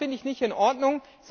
Das finde ich nicht in Ordnung!